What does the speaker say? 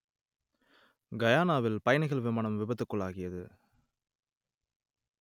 கயானாவில் பயணிகள் விமானம் விபத்துக்குள்ளாகியது